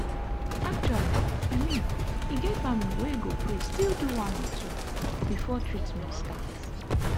actually i mean e get family wey go pray still one do one or two before treament start.